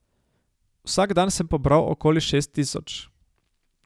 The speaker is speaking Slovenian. Vsak dan sem pobral okoli šest tisoč.